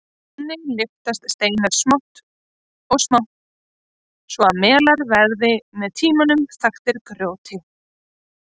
Þannig lyftast steinar smátt og smátt svo að melar verða með tímanum þaktir grjóti.